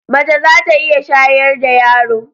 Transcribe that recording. Mace za ta iya shayar da yaro.